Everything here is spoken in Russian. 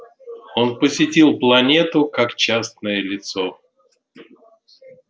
он посетил планету как частное лицо